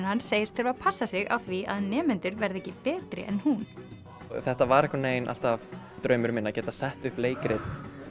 hans segist þurfa að passa sig á því að nemendur verði ekki betri en hún þetta var eiginlega alltaf draumur minn að geta sett upp leikrit